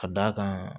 Ka d'a kan